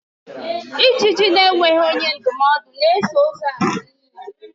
Ijiji na-enweghi onye ndumodu na-eso ozu ala n'inyi